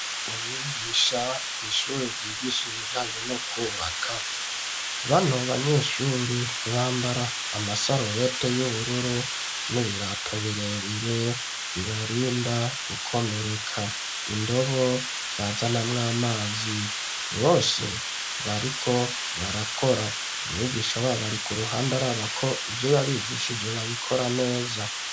umwigisha kw'shuri ryigisha ibijanye no kubaka bano banyeshuri bambara amasarubete y'ubururu n'ibirato birebire bibarinda gukomereka indobo bazanamwo amazi bose bariko barakora umwigisha wabo ari ku ruhande arabako ivyo yabigishije babikora neza